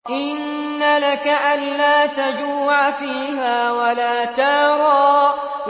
إِنَّ لَكَ أَلَّا تَجُوعَ فِيهَا وَلَا تَعْرَىٰ